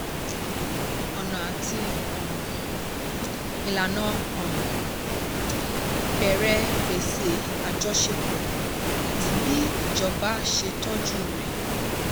ọ̀nà àti um ìlànà um bẹ̀rẹ̀ gbèsè àjọṣepọ̀ àti bí ìjọba ṣe tọ́jú rẹ̀.